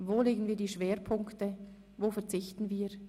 Wo legen wir Schwerpunkte, wo verzichten wir?